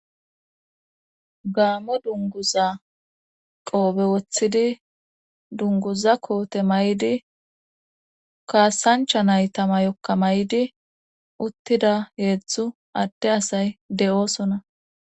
gaamo dunguza qoobe woththidi dunguza koote mayidi kaasancha nayta mayokka may'di uttida heedzdzu adde asay de'oosona